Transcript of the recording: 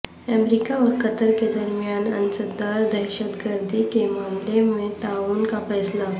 امریکہ اور قطر کے درمیان انسداد دہشت گردی کے معاملے میں تعاون کا فیصلہ